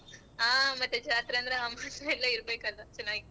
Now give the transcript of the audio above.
ಹ ಮತ್ತೆ ಜಾತ್ರೆ ಅಂದ್ರೆ ಇರ್ಬೇಕಲ್ಲ ಚೆನ್ನಾಗಿರತ್ತೆ.